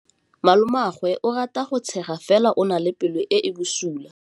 Malomagwe o rata go tshega fela o na le pelo e e bosula.